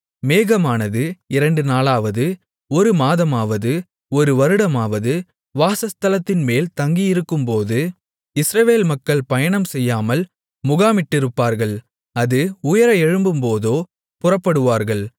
மேகமானது இரண்டு நாளாவது ஒரு மாதமாவது ஒரு வருடமாவது வாசஸ்தலத்தின்மேல் தங்கியிருக்கும்போது இஸ்ரவேல் மக்கள் பயணம்செய்யாமல் முகாமிட்டிருப்பார்கள் அது உயர எழும்பும்போதோ புறப்படுவார்கள்